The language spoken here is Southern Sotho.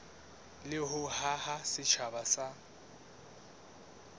le ho haha setjhaba sa